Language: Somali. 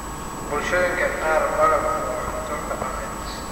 Bulshooyinka qaar, malabku waa cunto dhaqameed.